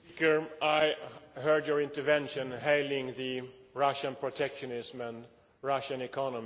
I heard your intervention hailing Russian protectionism and the Russian economy.